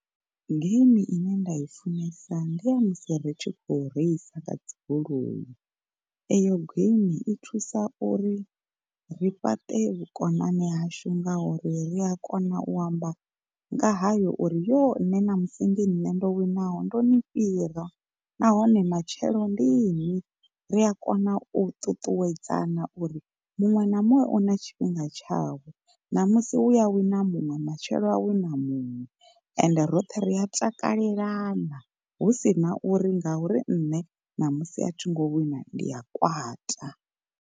Geimi ine nda i funesa ndi ya musi ri tshi khou reisa nga dzi goloi, eyo geimi i thusa uri ri fhaṱe vhukonani hashu ngauri ri a kona u amba nga hayo uri yoo nṋe ṋamusi ndi nṋe ndo winaho ndo ni fhira nahone matshelo ndi ini, ri a kona u ṱuṱuwedzana uri muṅwe na muṅwe una tshifhinga tshawe. Ṋamusi huya wina muṅwe matshelo ha wina muṅwe ende roṱhe ri a takalelana husina uri ngauri nne ṋamusi a thi ngo wina ndi a kwata.